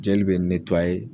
Jeli be